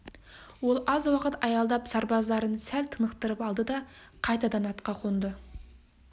ол аз уақыт аялдап сарбаздарын сәл тынықтырып алды да қайтадан атқа қонды